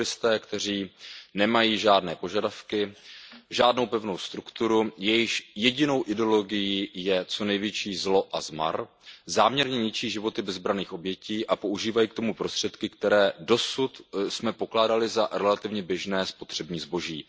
Teroristé, kteří nemají žádné požadavky, žádnou pevnou strukturu, jejichž jedinou ideologií je co největší zlo a zmar, záměrně ničí životy bezbranných obětí a používají k tomu prostředky, které jsme dosud pokládali za relativně běžné spotřební zboží.